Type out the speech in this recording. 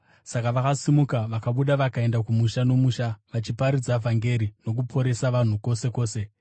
Saka vakasimuka vakabuda vakaenda kumusha nomusha, vachiparidza vhangeri nokuporesa vanhu kwose kwose.